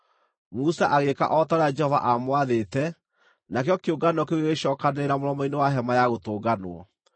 Musa agĩĩka o ta ũrĩa Jehova aamwathĩte, nakĩo kĩũngano kĩu gĩgĩcookanĩrĩra mũromo-inĩ wa Hema-ya-Gũtũnganwo.